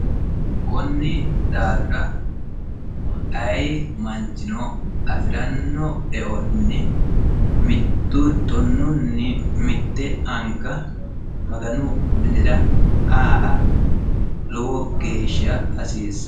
konni daafira ayee manchino afiranno eonni tonnunni mitte anga maganu minira aa lowo geeshsha hasiissanno.